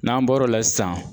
N'an bɔr'o la sisan